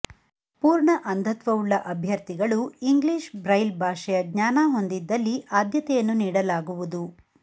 ಪೂರ್ಣ ಅಂಧತ್ವವುಳ್ಳ ಅಭ್ಯರ್ಥಿಗಳು ಇಂಗ್ಲೀಷ್ ಬ್ರೈಲ್ ಭಾಷೆಯ ಜ್ಞಾನ ಹೊಂದಿದ್ದಲ್ಲಿ ಆದ್ಯತೆಯನ್ನು ನೀಡಲಾಗುವುದು